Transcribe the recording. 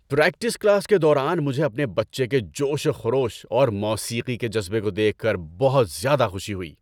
Practice class کے دوران مجھے اپنے بچے کے جوش و خروش اور موسیقی کے جذبے کو دیکھ کر بہت زیادہ خوشی ہوئی۔